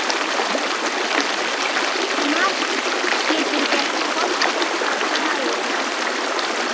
Margt getur gert forseta fræga.